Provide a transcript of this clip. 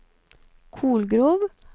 Kolgrov